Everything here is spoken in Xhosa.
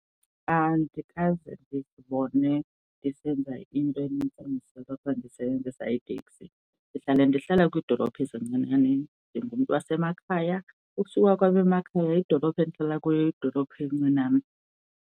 Andikaze ndizibone ndisenza into enintsi endisoloko ndisebenzisa iitekisi, ndihlale ndihlala kwiidolophu ezincinane, ndingumntu wasemakhaya. ukusuka kwam emakhaya idolophu endihlala kuyo yidolophu encinane.